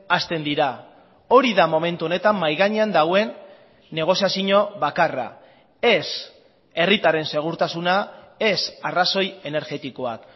hasten dira hori da momentu honetan mahai gainean dagoen negoziazio bakarra ez herritarren segurtasuna ez arrazoi energetikoak